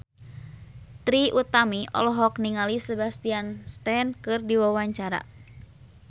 Trie Utami olohok ningali Sebastian Stan keur diwawancara